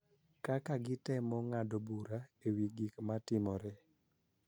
Kaka gitemo ng�ado bura e wi gik ma timore.